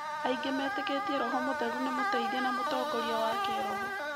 Aingĩ metĩkĩtie Roho Mũtheru nĩ mũteithia na mũtongoria wa kĩĩroho.